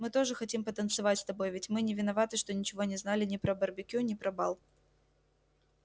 мы тоже хотим потанцевать с тобой ведь мы не виноваты что ничего не знали ни про барбекю ни про бал